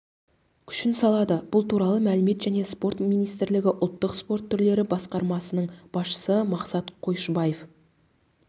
күшін салады бұл туралы мәдениет және спорт министрлігі ұлттық спорт түрлері басқармасының басшысы мақсат қойшыбаев